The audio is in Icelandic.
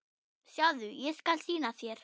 Sjáðu, ég skal sýna þér